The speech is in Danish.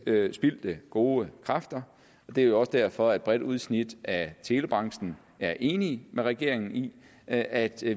spildte gode kræfter det er jo også derfor at et bredt udsnit af telebranchen er enig med regeringen i at at